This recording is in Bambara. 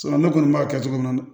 ne kɔni b'a kɛ cogo min na